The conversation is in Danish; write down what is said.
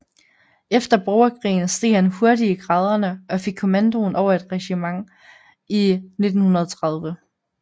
Efter borgerkrigen steg han hurtigt i graderne og fik kommandoen over et regiment i 1930